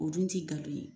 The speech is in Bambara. O dun ti galon ye